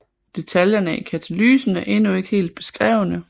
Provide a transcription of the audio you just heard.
Deltaljerne i katalysen er endnu ikke helt beskrevne